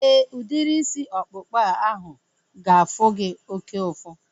Éè, udiri isi ọkpụkpa ahu ga-afụ gị oké ụfụ